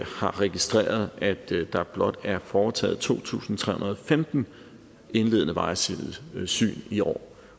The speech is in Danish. har registreret at der blot er foretaget to tusind tre hundrede og femten indledende vejsidesyn i år